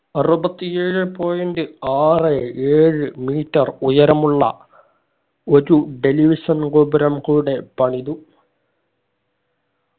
അറുപത്തി ഏഴെ point ആറ് ഏഴ് metre ഉയരമുള്ള ഒരു television ഗോപുരം കൂടെ പണിതു